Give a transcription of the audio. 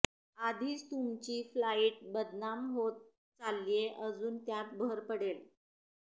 आधीच तुमची फ्लाईट बदनाम होत चाललीये अजून त्यात भर पडेल